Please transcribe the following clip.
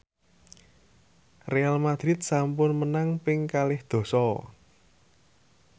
Real madrid sampun menang ping kalih dasa